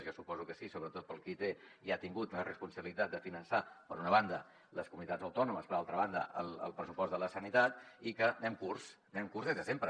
jo suposo que sí sobretot pel qui té i ha tingut la responsabilitat de finançar per una banda les comunitats autònomes per altra banda el pressupost de la sanitat i que anem curts anem curts des de sempre